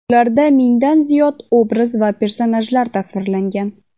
Ularda mingdan ziyod obraz va personajlar tasvirlangan.